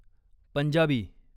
Punjabi